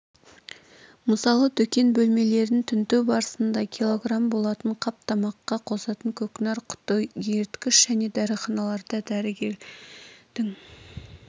мысалы дүкен бөлмелерін тінту барысында кг болатын қап тамаққа қосатын көкнәр құты еріткіш және дәріханаларда дәрігердің